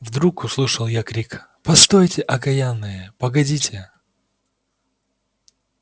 вдруг услышал я крик постойте окаянные погодите